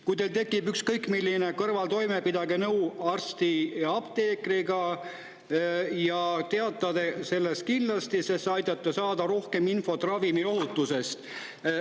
Kui teil tekib ükskõik milline kõrvaltoime, pidage nõu arsti või apteekriga ja teatage sellest kindlasti, sest see aitab saada rohkem infot ravimiohutusest.